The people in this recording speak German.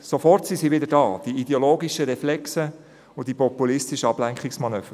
Sofort sind sie wieder da, die ideologischen Reflexe und populistischen Ablenkungsmanöver.